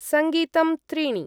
सङ्गीतं त्रीणि।